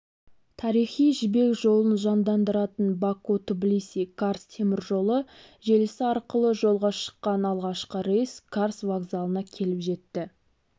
тарихи жібек жолын жандандыратын баку-тбилиси-карс теміржолы желісі арқылы жолға шыққан алғашқы рейс карс вокзалына келіп жетті